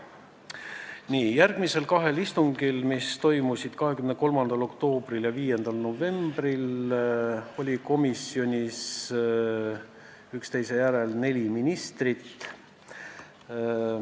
Nii, järgmisel kahel istungil, mis toimusid 23. oktoobril ja 5. novembril, oli komisjonis üksteise järel neli ministrit.